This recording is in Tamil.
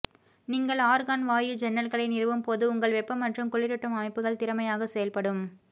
நீங்கள் ஆர்கான் வாயு ஜன்னல்களை நிறுவும் போது உங்கள் வெப்ப மற்றும் குளிரூட்டும் அமைப்புகள் திறமையாக செயல்படும்